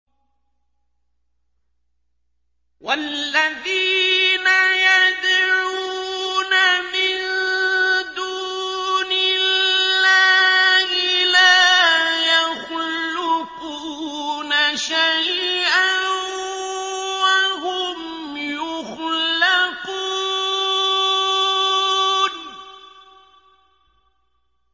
وَالَّذِينَ يَدْعُونَ مِن دُونِ اللَّهِ لَا يَخْلُقُونَ شَيْئًا وَهُمْ يُخْلَقُونَ